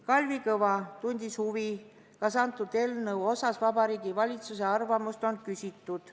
Kalvi Kõva tundis huvi, kas antud eelnõu osas Vabariigi Valitsuse arvamust on küsitud.